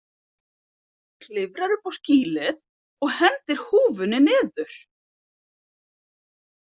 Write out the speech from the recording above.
Klifrar upp á skýlið og hendir húfunni niður.